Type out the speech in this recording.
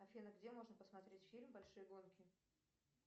афина где можно посмотреть фильм большие гонки